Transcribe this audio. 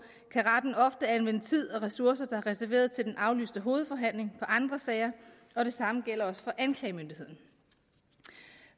kan retten ofte anvende tid og ressourcer der er reserveret til den aflyste hovedforhandling på andre sager og det samme gælder også for anklagemyndigheden